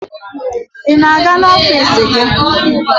Ị na-aga n'ọfiisi gị?